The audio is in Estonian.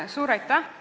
Suur aitäh!